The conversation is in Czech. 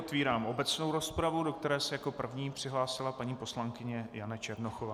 Otevírám obecnou rozpravu, do které se jako první přihlásila paní poslankyně Jana Černochová.